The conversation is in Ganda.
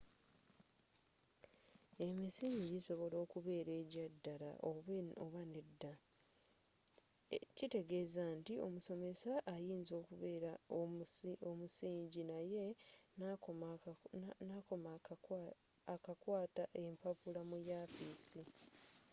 emisingi gisobola okubera egyaddala oba nedda kitegezza nti omusomesa ayinza okubera omusingi naye n'akoma akakwata empapula mu yafisi